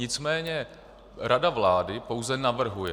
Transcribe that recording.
Nicméně rada vlády pouze navrhuje.